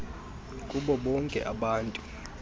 kubo bonke abantu